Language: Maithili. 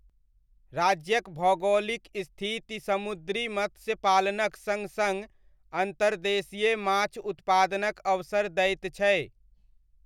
राज्यक भौगोलिक स्थिति समुद्री मत्स्य पालनक सङ्ग सङ्ग अन्तर्देशीय माछ उत्पादनक अवसर दैत छै।